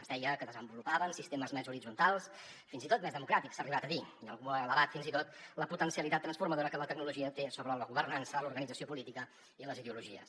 es deia que desenvolupaven sistemes més horitzontals fins i tot més democràtics s’ha arribat a dir i algú ho ha elevat fins i tot a la potencialitat transformadora que la tecnologia té sobre la governança l’organització política i les ideologies